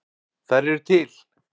Þær eru til!